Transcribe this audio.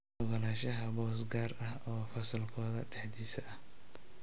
Oggolaanshaha boos gaar ah oo fasalkooda dhexdiisa ah.